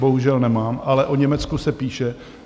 Bohužel nemám, ale o Německu se píše.